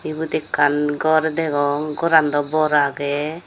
eyot ekkan gor degong goran dow bor agey.